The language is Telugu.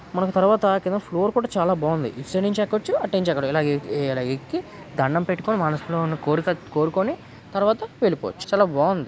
మనం తర్వాత కింద ఫ్లోర్ కూడా చాలా బావుంది.ఇటు సైడ్ నుండి ఎక్కొచ్చు అట్నుంచి ఇలాగే ఇడఎక్కి దండం పెట్టుకొని మనసులో ఉన్న కోరిక కోరుకొని తర్వాత వెళ్లిపోవచ్చు.